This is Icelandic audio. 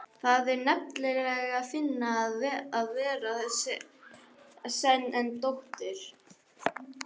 Það er nefnilega fínna að vera sen en dóttir.